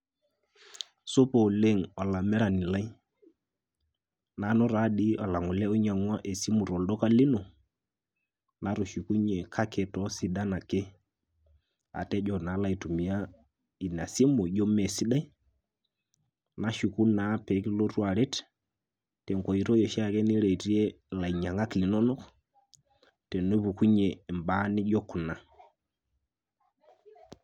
Supa oleng' olamirani lai, nanu taadoi olang'ole oinyang'ua esimu tolduka lino, natushukunye kake toosidan ake. Atejo naa alo aitumia ina simu ijo meesidai nashuku naa peekilotu aret, tenkoitoi oshiake niretie ilainyang'ak linonok, tenepukunye mbaa nijo kuna.